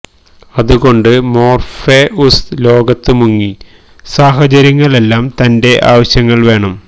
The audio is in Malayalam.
അതുകൊണ്ട് മൊര്ഫെഉസ് ലോകത്ത് മുങ്ങി സാഹചര്യങ്ങൾ എല്ലാ തന്റെ ആവശ്യങ്ങൾ വേണം